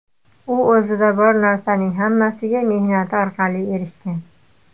U o‘zida bor narsaning hammasiga mehnati orqali erishgan.